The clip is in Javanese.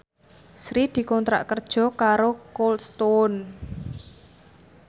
Sri dikontrak kerja karo Cold Stone